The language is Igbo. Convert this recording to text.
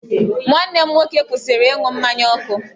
Nwanne m nwoke kwụsịrị ịṅụ mmanya ọkụ.